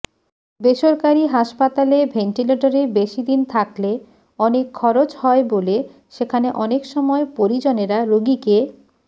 বেসরকারি হাসপাতালে ভেন্টিলেটরে বেশিদিন থাকলে অনেক খরচ হয় বলে সেখানে অনেক সময় পরিজনেরা রোগীকে